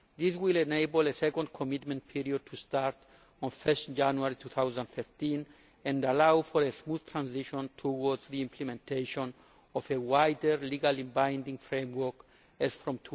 This will enable a second commitment period to start on 1 January 2013 and allow for a smooth transition towards the implementation of a wider legally binding framework as from